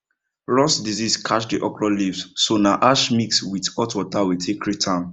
rust disease catch the okra leaves so na ash mix with hot water we take treat am